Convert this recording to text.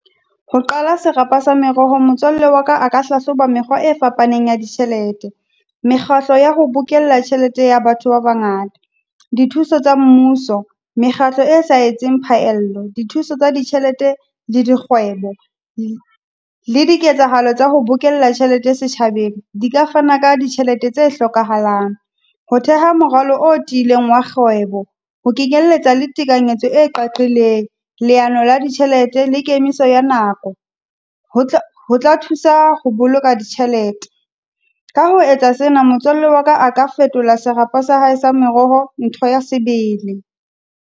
Ho qala serapa sa merohong, motswalle wa ka a ka hlahloba mekgwa e fapaneng ya ditjhelete. Mekgatlo ya ho bookella tjhelete ya batho ba bangata, dithuso tsa mmuso, mekgatlo e sa etseng phaello, dithuso tsa ditjhelete le dikgwebo. Le di ketsahalo tsa ho bokella tjhelete setjhabeng, di ka fana ka ditjhelete tse hlokahalang. Ho theha morwalo o tiileng wa kgwebo, ho kenyelletsa le tekanyetso e qaqileng, leano la ditjhelete, le ke emise ya nako. Ho ho tla thusa ho boloka ditjhelete. Ka ho etsa sena motswalle wa ka a ka fetola serapa sa hae sa meroho, ntho ya sebele.